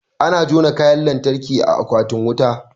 Ana jona Kayan lantarki a akwatin wuta